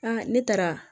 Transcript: ne taara